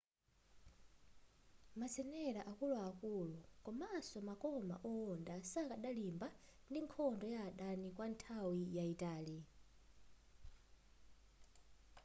mazenela akuluakulu komanso makoma owonda sadakalimba ndi nkhondo ya adani kwanthawi yaitali